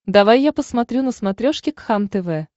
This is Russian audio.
давай я посмотрю на смотрешке кхлм тв